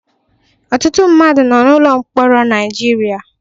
Ọtụtụ mmadụ nọ n'ụlọ mkpọrọ Naịjirịa.